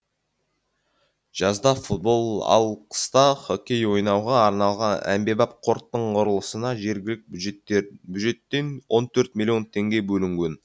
жазда футбол ал қыста хоккей ойнауға арналған әмбебап қорттың құрылысына жергілікті бюджеттен он төрт миллион теңге бөлінген